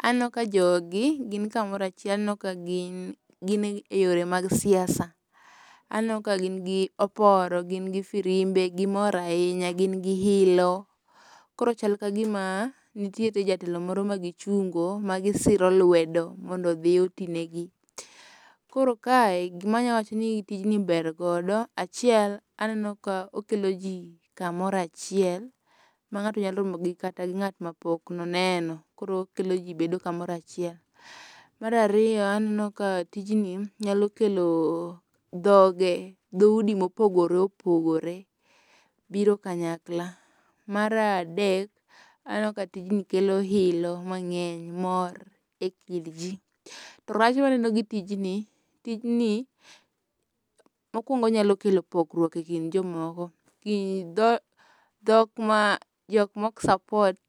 Aneno ka jogi gin kamoro achiel aneno ka gin e yore mag siasa. Aneno ka gin gi oporo gin gi firimbe gimor ahinya gin ilo. Koro chal ka gima nitiere jatelo moro ma gichungo ma gisiro luwedo mondo odhi oti negi. Koro kae gima anyalo wacho ni tijni ber godo, achiel aneno ka okelo ji kamoro achiel ma ng'ato nyalo romogi kata ng'at ma pok no oneno koro okelo ji kamoro achiel. Mar ariyo aneno ka tijni nyalo kelo dhoge dhoudi mopogore opogore biro kanyakla. Mar adek, aneno ka tijni kelo ilo mang'eny, mor e kind ji. To rach maneno go tijni, tijni mokwongo onyalo kelo pogruok e kind jimoko dhok ma jok mok support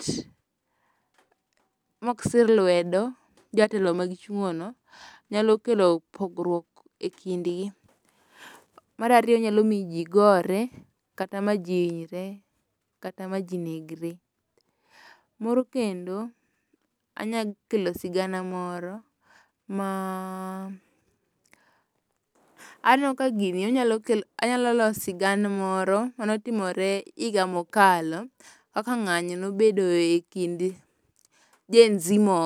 mok sir lwedo jatelo ma gichungono nyalo kelo pogruok e kindgi. Mar ariyo onyalo miyo ji gore kata ma ji hinyre kata ma ji negre. Moro kendo anyakelo sigana moro ma aneno ka gini onyalo los sigana moro mane otimore higa mokalo kaka ng'anyo nobedo e kind GenZ moko.